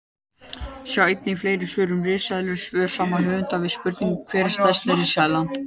Sjá einnig fleiri svör um risaeðlur: Svör sama höfundar við spurningunum Hver var stærsta risaeðlan?